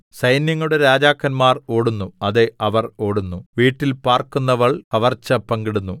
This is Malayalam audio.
സൈന്യങ്ങളുടെ രാജാക്കന്മാർ ഓടുന്നു അതെ അവർ ഓടുന്നു വീട്ടിൽ പാർക്കുന്നവൾ കവർച്ച പങ്കിടുന്നു